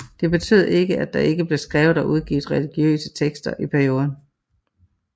Det betød ikke at der ikke blev skrevet og udgivet religiøse tekster i perioden